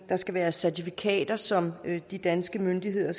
der skal være certifikater som de danske myndigheder